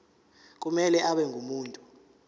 kumele abe ngumuntu